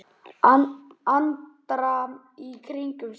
Andra í kringum sig.